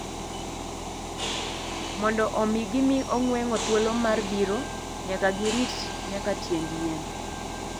Mondo omi gimi ong'weng'o thuolo mar biro, nyaka girit nyaka tiend yien.